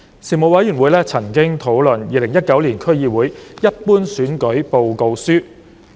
事務委員會曾討論《2019年區議會一般選舉報告書》。